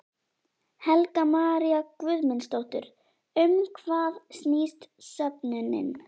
Helga María Guðmundsdóttir: Um hvað snýst söfnunin?